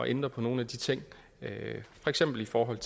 ændre på nogle af de ting for eksempel i forhold